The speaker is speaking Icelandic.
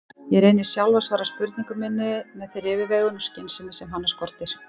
Ég reyni sjálf að svara spurningu minni með þeirri yfirveguðu skynsemi sem hana skortir.